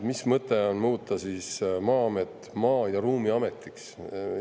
Mis mõte on muuta Maa-amet Maa- ja Ruumiametiks?